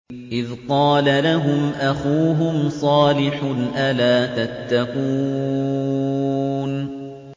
إِذْ قَالَ لَهُمْ أَخُوهُمْ صَالِحٌ أَلَا تَتَّقُونَ